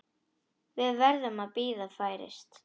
Við verðum að bíða færis.